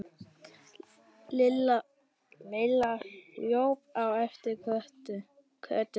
Lilla hlaupin á eftir Kötu.